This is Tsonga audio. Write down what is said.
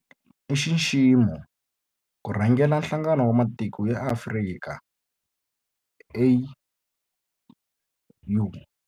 I nxiximo ku rhangela Nhlangano wa Matiko ya Afrika, AU.